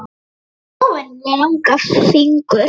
Hann er með óvenjulega langa fingur.